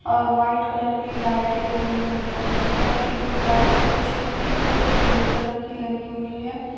और white colour की लाइटे लगी हुई है ऊपर की जो टाइल्स है छत की वो सफेद कलर की लगी हुई है।